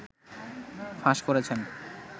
ফাঁস করেছেন